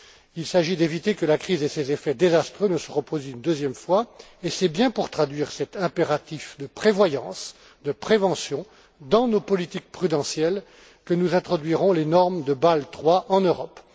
Il s'agit d'éviter que la crise et ses effets désastreux ne se reproduisent une deuxième fois, et c'est bien pour traduire cet impératif de prévoyance, de prévention dans nos politiques prudentielles que nous introduirons les normes de Bâle III en Europe.